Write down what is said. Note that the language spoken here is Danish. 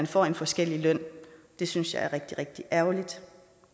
får en forskellig løn det synes jeg er rigtig rigtig ærgerligt